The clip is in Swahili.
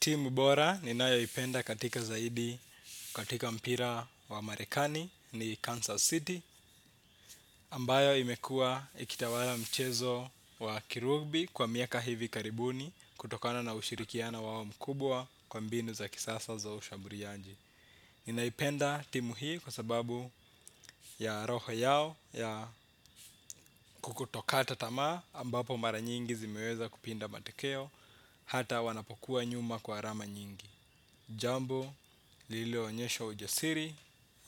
Timu bora ninayoipenda katika zaidi katika mpira wa marekani ni Kansas City Ambayo imekua ikitawala mchezo wa kirugbi kwa miaka hivi karibuni. Kutokana na ushirikiano wao mkubwa kwa mbinu za kisasa za ushamburianji ninaipenda timu hii kwa sababu ya roho yao ya kukutokata tamaa ambapo mara nyingi zimeweza kupinda matokeo. Hata wanapokuwa nyuma kwa arama nyingi jambo lililoonyesha ujasiri